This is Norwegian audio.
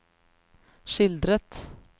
skildret